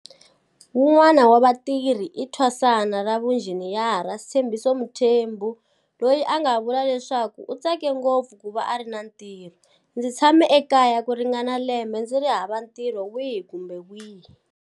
Wun'wana wa vatirhi i thwasana ra vuinjiniyara Sthembiso Mthembu loyi a nga vula leswaku u tsake ngopfu ku va a ri na ntirho, Ndzi tshame ekaya ku ringana lembe ndzi ri hava ntirho wihi kumbe wihi.